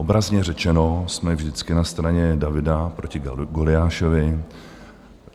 Obrazně řečeno jsme vždycky na straně Davida proti Goliášovi.